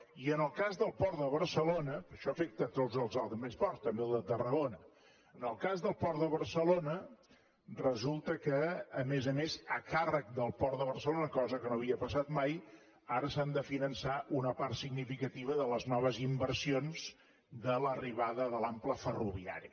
i en el cas del port de barcelona perquè això afecta els altres ports també el de tarragona en el cas del port de barcelona resulta que a més a més a càrrec del port de barcelona cosa que no havia passat mai ara s’han de finançar una part significativa de les noves inversions de l’arribada de l’ample ferroviari